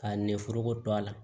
Ka ne foroko to a la